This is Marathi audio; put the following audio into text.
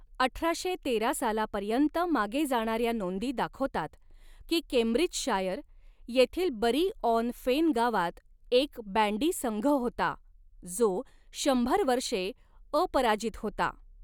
अठराशे तेरा सालापर्यन्त मागे जाणाऱ्या नोंदी दाखवतात की केम्ब्रिजशायर येथील बरी ऑन फेन गावात एक बँडी संघ होता, जो शंभर वर्षे अपराजित होता.